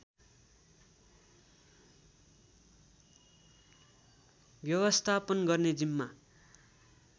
व्यवस्थापन गर्ने जिम्मा